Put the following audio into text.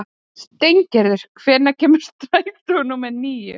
Steingerður, hvenær kemur strætó númer níu?